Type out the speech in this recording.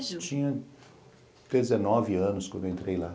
Sim, eu tinha dezenove anos quando eu entrei lá.